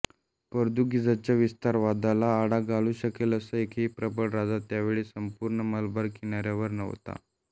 पोर्तुगीजांच्या विस्तारवादाला आळा घालू शकेल असा एकही प्रबळ राजा त्यावेळी संपूर्ण मलबार किनाऱ्यावर नव्हता